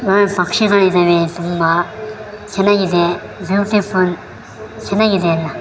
ಪಕ್ಷಿಗಳಿದಾವೆ ತುಂಬಾ ಚೆನ್ನಾಗಿದೆ ಬ್ಯೂಟಿಫುಲ್ ಚೆನ್ನಾಗಿದೆ ಎಲ್ಲ .